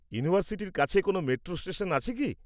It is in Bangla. ইউনিভার্সিটির কাছে কোনও মেট্রো স্টেশন আছে কি?